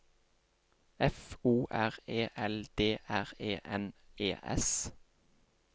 F O R E L D R E N E S